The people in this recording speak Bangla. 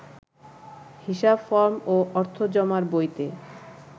হিসাব ফরম ও অর্থ জমার বইতে